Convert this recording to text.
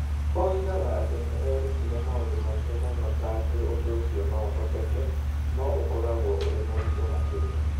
Oigaga atĩ nĩ erutire maũndũ maingĩ mũno ta atĩ ũndũ ũcio no ũhoteke, no ũkoragwo ũrĩ mũritũ makĩria.